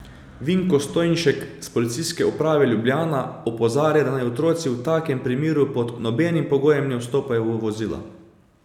Vinko Stojnšek s Policijske uprave Ljubljana opozarja, da naj otroci v takem primeru pod nobenim pogojem ne vstopajo v vozila.